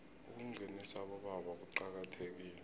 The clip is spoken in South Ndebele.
ukungenisa abobaba kuqakathekile